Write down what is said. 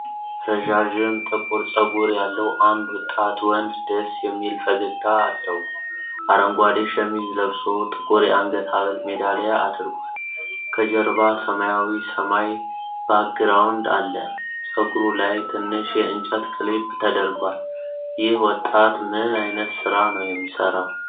ረዣዥም ጥቁር ፀጉር ያለው አንድ ወጣት ወንድ ደስ የሚል ፈገግታ አለው። አረንጓዴ ሸሚዝ ለብሶ ጥቁር የአንገት ሐብል ሜዳሊያ አድርጓል። ከጀርባ ሰማያዊ ሰማይ ባክግራውንድ አለ። ፀጉሩ ላይ ትንሽ የእንጨት ክሊፕ ተደርጓል። ይህ ወጣት ምን ዓይነት ሥራ ነው የሚሠራው?